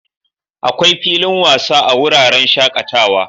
Akwai filin wasa a wuraren shakatawa.